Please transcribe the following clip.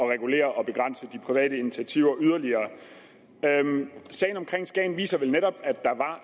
at regulere og begrænse de private initiativer yderligere sagen omkring skagen kommune viser vel netop